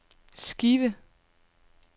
skive